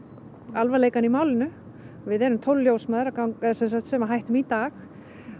alvarleikann í málinu við erum tólf ljósmæður sem hættum í dag